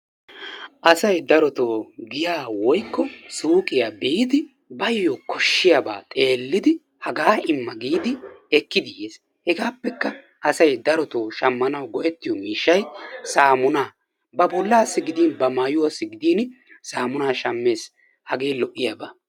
asay darotoo giyaa woykko suuqqiya biidi baayo koshiyaba xeelidi hagaa imma giidi ekkidi yes, hegaappekka asay darotoo shamanawu go'ettiyo miishay ba bolaassi gidin ba mayuwassi gidin saamunaa shammees hagee lo'iyaba.